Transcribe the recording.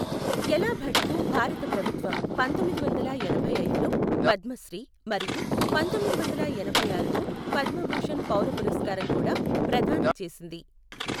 ఎలా భట్కు భారత ప్రభుత్వం పంతొమ్మిది వందల ఎనభైఐదులో పద్మశ్రీ మరియు పంతొమ్మిది వందల ఎనభై ఆరులో పద్మ భూషణ్ పౌర పురస్కారం కూడా ప్రదానం చేసింది.